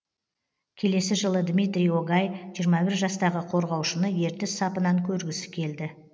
келесі жылы дмитрий огай жиырма бір жастағы қорғаушыны ертіс сапынан көргісі келді